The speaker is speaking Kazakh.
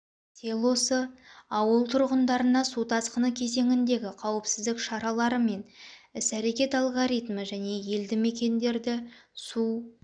селосы ауыл тұрғындарына су тасқыны кезеңіндегі қауіпсіздік шаралары мен іс-әрекет алгоритмі және елді мекендерді су